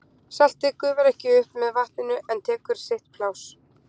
Saltið gufar ekki upp með vatninu en tekur sitt pláss.